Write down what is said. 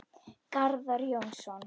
Garðar Jónsson